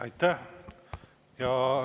Aitäh!